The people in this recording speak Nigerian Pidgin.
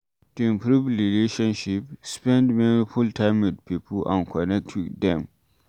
To improve relationship, spend meaningful time with pipo and connect with dem